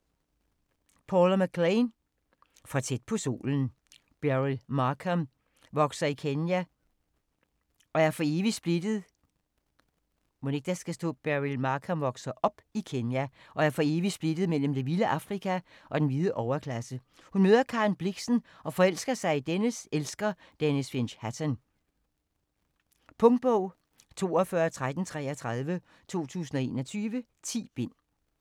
McLain, Paula: For tæt på solen Beryl Markham vokser i Kenya og er for evigt splittet mellem det vilde Afrika og den hvide overklasse. Hun møder Karen Blixen og forelsker sig i dennes elsker, Denys Finch Hatton. Punktbog 421333 2021. 10 bind.